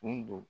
Nin don